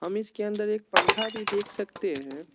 हम इसके अंदर एक पंखा भी देख सकते है।